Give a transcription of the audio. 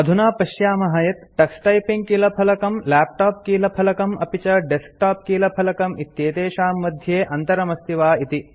अधुना पश्यामः यत् टक्स टाइपिंग कीलफलकम् लैपटॉप कीलफलकम् अपि च डेस्कटॉप कीलफलकम् इत्येतेषां मध्ये अन्तरमस्ति वा इति